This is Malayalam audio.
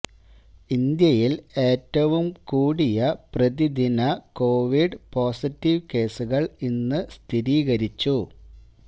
ഇന്ത്യയില് ഏറ്റവും കൂടിയ പ്രതിദിന കോവിഡ് പോസിറ്റീവ് കേസുകള് ഇന്ന് സ്ഥിരീകരിച്ചു